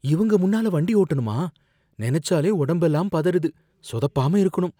இவங்க முன்னால வண்டி ஓட்டணுமா? நெனச்சாலே உடம்பெல்லாம் பதறுது. சொதப்பாம இருக்கணும்.